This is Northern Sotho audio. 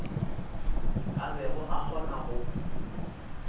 a bego a kgona go